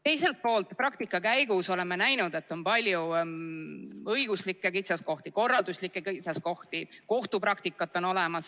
Teiselt poolt, praktika käigus oleme näinud, et on palju õiguslikke kitsaskohti, korralduslikke kitsaskohti, kohtupraktikat.